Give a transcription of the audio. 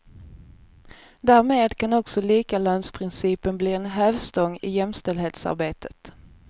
Därmed kan också likalönsprincipen bli en hävstång i jämställdhetsarbetet.